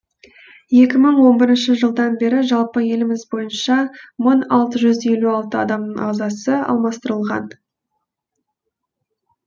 екі мың он бірінші жылдан бері жалпы еліміз бойынша мың алты жүз елу алты адамның ағзасы алмастырылған